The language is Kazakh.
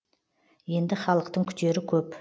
енді халықтың күтері көп